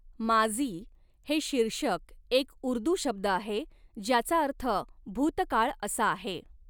माज़ी' हे शीर्षक, एक उर्दू शब्द आहे ज्याचा अर्थ 'भूतकाळ' असा आहे.